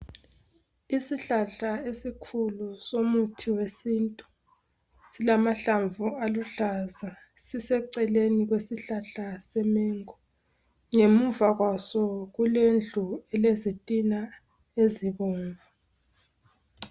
Isihlahla esikhulu somuthi wesintu silamahlamu aluhlaza. Siseceleni kwesihlahla se mengo .Ngemuva kwaso kulendlu elezitina ezibomvu.